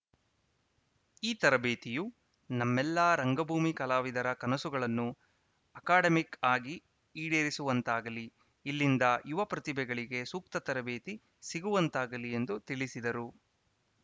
ಈ ತರಬೇತಿಯು ನಮ್ಮೆಲ್ಲಾ ರಂಗಭೂಮಿ ಕಲಾವಿದರ ಕನಸುಗಳನ್ನು ಅಕಾಡೆಮಿಕ್‌ ಆಗಿ ಈಡೇರಿಸುವಂತಾಗಲಿ ಇಲ್ಲಿಂದ ಯುವ ಪ್ರತಿಭೆಗಳಿಗೆ ಸೂಕ್ತ ತರಬೇತಿ ಸಿಗುವಂತಾಗಲಿ ಎಂದು ತಿಳಿಸಿದರು